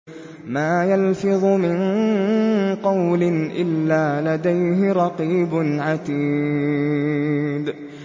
مَّا يَلْفِظُ مِن قَوْلٍ إِلَّا لَدَيْهِ رَقِيبٌ عَتِيدٌ